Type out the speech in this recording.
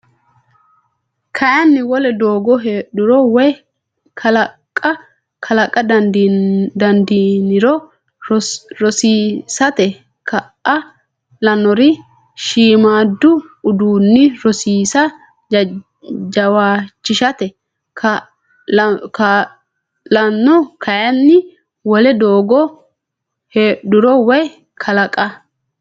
Kayinni wole doogo heedhuro woy kalaqa dandiiniro rosiisate kaa lannori shiimmaaddu udiinni rosiisa jawaachishate kaa lanno Kayinni wole doogo heedhuro woy kalaqa.